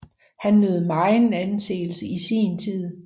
Han nød megen anseelse i sin tid